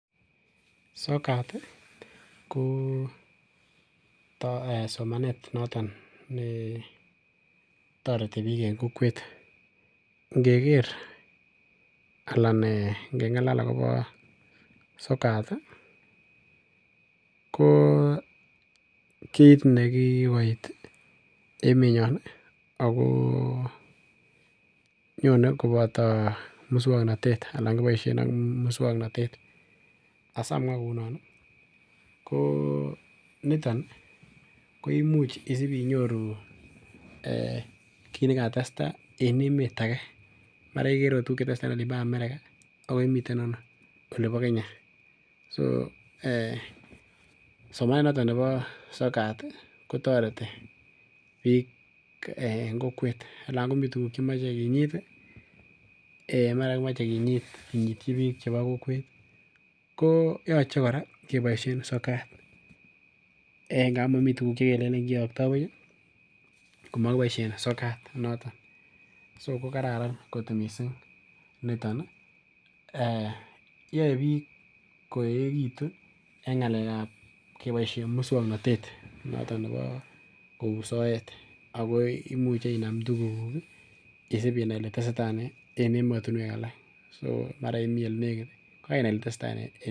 Sokat ko somanet noton netoreti biik en kokwet. Ngeker anan ngeng'alal akobo sokat ko kit nekikoit emenyon ih ako nyone koboto muswongnotet anan kiboisien ak muswongnotet asiamwaa kounon ih ko niton ih koimuch isip inyoru kit nekatestaa en emet ake mara iker ot tuguk chetesetaa en Amerika ako imiten ano olibo Kenya so somanet noton nibo sokat ih kotoreti biik en kokwet nan komii tuguk chekimoche kinyit ih mara kimoche kinyit kinyityi biik chebo kokwet koyoche kora keboisien sokat amun mii tuguk chekelenen kiyoktoo buch ih kokokiboisien sokat noton so ko karan kot missing niton ih yoe biik koeekitun en ng'alek ab keboisien muswongnotet noton nebo kou soet ako imuche inam tuguk kuk ih isip inai ile tesetai nee en emotinwek alak so mara imii elenekit ko kenai ile tesetai nee